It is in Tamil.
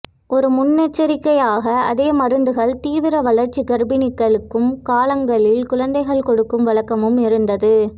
ஒரு முன்னெச்சரிக்கையாக அதே மருந்துகள் தீவிர வளர்ச்சி கர்ப்பிணிகளும் காலங்களில் குழந்தைகள் கொடுக்கும் வழக்கமும் இருந்தது